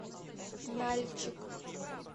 нальчик